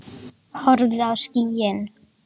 Horfðu á skýin.